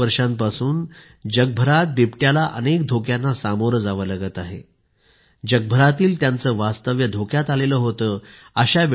अनेक वर्षांपासून जगभरात बिबट्याला अनेक धोक्यांना सामोरे जावे लागत आहे जगभरातील त्यांचे वास्तव्य धोक्यात आले होते